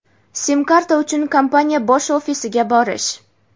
Sim karta uchun kompaniya bosh ofisiga borish.